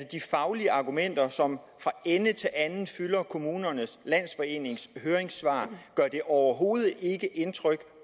de faglige argumenter som fra ende til anden fylder kommunernes landsforenings høringssvar overhovedet ikke indtryk